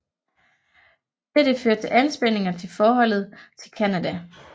Dette fører til anspændinger til forholdet til Canada